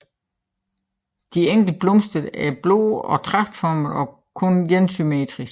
De enkelte blomster er blå og tragtformede og kun énsymmetriske